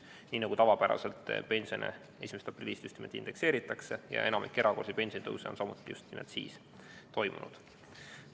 Nii nagu tavapäraselt, 1. aprillist pensione indekseeritakse ja enamik erakorralisi pensionitõuse on samuti just siis toimunud.